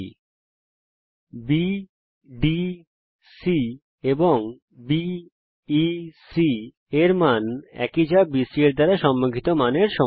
একই চাপ বিসি দ্বারা সম্মুখিত অন্তর্লিখিত কোণ বিডিসি এবং বিইসি এর মান একই